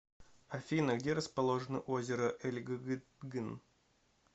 афина где расположено озеро эльгыгытгын